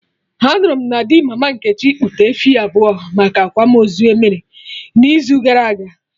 Anụrụ m na di mama Nkechi kpụta efi abụọ maka akwamozu emere n'izu gara aga